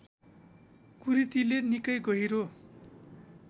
कुरीतिले निकै गहिरो